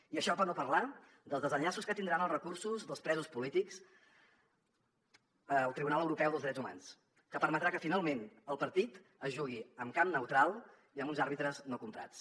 i això per no parlar dels desenllaços que tindran els recursos dels presos polítics al tribunal europeu dels drets humans que permetrà que finalment el partit es jugui en camp neutral i amb uns àrbitres no comprats